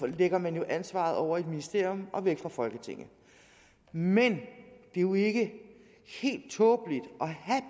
lægger man jo ansvaret over i et ministerium og væk fra folketinget men det er jo ikke helt tåbeligt